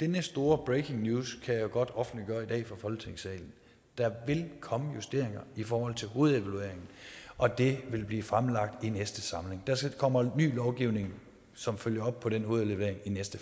denne store breaking news kan jeg godt offentliggøre i dag i folketingssalen der vil komme justeringer i forhold til hovedevalueringen og det vil blive fremlagt i næste samling der kommer ny lovgivning som følger op på den hovedevaluering i næste